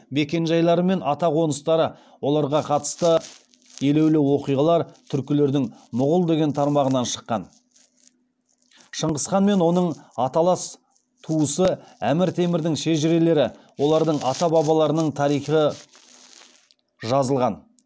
мекенжайлары мен атақоныстары оларға қатысты елеулі оқиғалар түркілердің мұғул деген тармағынан шыққан шыңғыс хан мен оның аталас туысы әмір темірдің шежірелері олардың ата бабаларының тарихы жазылған